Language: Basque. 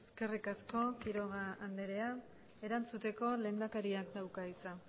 eskerrik asko quiroga andrea erantzuteko lehendakariak dauka hitza